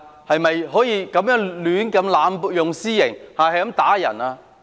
是否可以濫用私刑、胡亂打人？